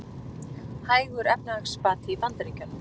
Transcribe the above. Hægur efnahagsbati í Bandaríkjunum